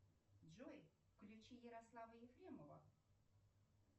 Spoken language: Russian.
джой включи ярослава ефремова